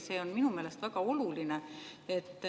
See on minu meelest väga oluline.